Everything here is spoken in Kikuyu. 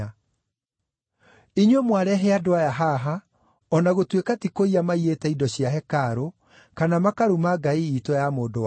Inyuĩ mwarehe andũ aya haha, o na gũtuĩka ti kũiya maiyĩte indo cia hekarũ, kana makaruma ngai iitũ ya mũndũ-wa-nja.